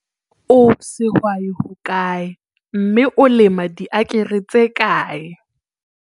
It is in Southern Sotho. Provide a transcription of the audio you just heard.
O sehwai hokae, mme o lema diakere tse kae?